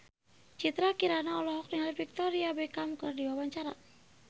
Citra Kirana olohok ningali Victoria Beckham keur diwawancara